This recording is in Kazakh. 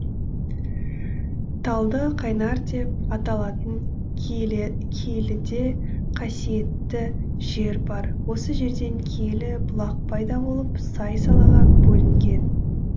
талды қайнар деп аталатын киеліде қасиетті жер бар осы жерден киелі бұлақ пайда болып сай салаға бөлінген